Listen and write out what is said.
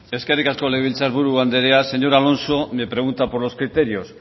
eskerrik asko legebiltzar buru andrea señor alonso me pregunta por los criterios